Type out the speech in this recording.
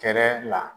Kɛnɛ la